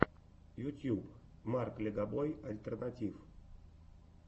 ютуб марк легобой альтернатив